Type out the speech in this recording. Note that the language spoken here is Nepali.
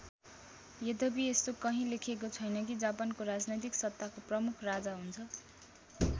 यद्यपि यस्तो कहीँ लेखेको छैन कि जापानको राजनैतिक सत्ताको प्रमुख राजा हुन्छ।